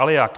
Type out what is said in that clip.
Ale jak?